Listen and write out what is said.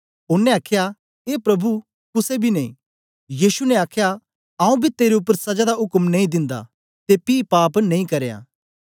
ओनें आख्या ए प्रभु कुसे बी नेई यीशु ने आख्या आऊँ बी तेरे उपर सजा दा उक्म नेई दिंदा ते पी पाप नेई करया